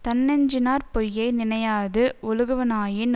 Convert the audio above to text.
தன்னெஞ்சினாற் பொய்யை நினையாது ஒழுகுவனாயின்